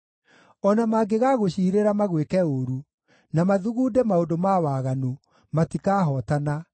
O na mangĩgagũciirĩra magwĩke ũũru, na mathugunde maũndũ ma waganu, matikahootana,